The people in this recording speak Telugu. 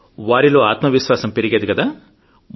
వారిలో ఆత్మవిశ్వాసం పెరిగేది కదా